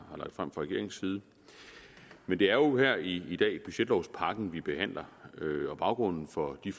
lagt frem fra regeringens side men det er jo her i dag budgetlovpakken vi behandler og baggrunden for de